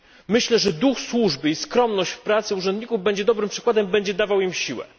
Myślę, że duch służby i skromność w pracy urzędników będzie dobrym przykładem, będzie dawał im siłę.